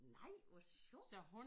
Nej hvor sjovt